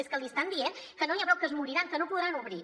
és que l’hi estan dient que no n’hi ha prou que es moriran que no podran obrir